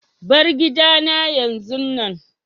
Bar gidana yanzun nan!